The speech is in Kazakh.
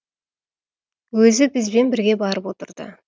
өзі бізбен бірге барып отырды